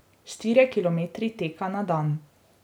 Štirje kilometri teka na dan.